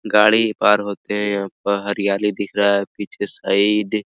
गाड़ी भी पार होते हैं यहाँ पर हरियाली दिख रहा है पीछे साइड ।